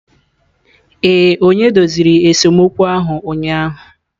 Ee, onye doziri esemokwu ahụ ụnyahụ.